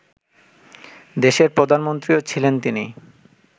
দেশের প্রধানমন্ত্রীও ছিলেন তিনি